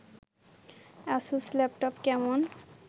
Asus laptop কেমন